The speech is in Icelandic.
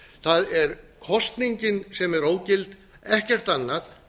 það er kosningin sem er ógild ekkert annað